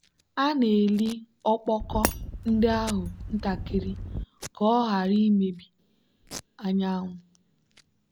a na-eli ọkpọkọ ndị ahụ ntakịrị ka ọ ghara imebi anyanwụ.